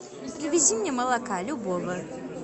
привези мне молока любого